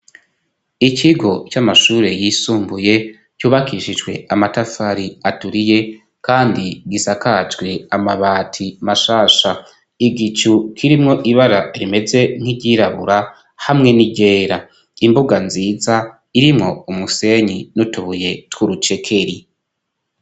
Ikigo c'amashure yisumbuye cubakishijwe amatafari aturiye, kandi gisakajwe amabati mashasha. Igicu kirimwo ibara rimeze nk'iryirabura hamwe n'iryera. Imbuga nziza irimwo umusenyi n'utubuye tw'urucekeri.